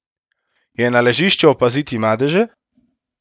Je na ležišču opaziti madeže?